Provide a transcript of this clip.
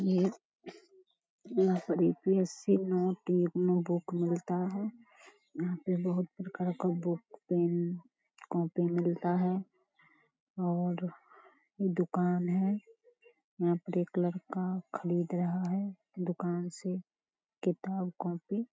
यहाँ पर यू.पी.एस.सी. बुक मिलता है। यहाँ पे मिलता है और दुकान है। लड़का खरीद रहा है दुकान से किताब कॉपी |